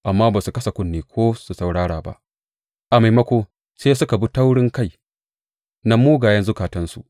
Amma ba su kasa kunne ko su saurara ba, a maimako, sai suka bi taurinkai na mugayen zukatansu.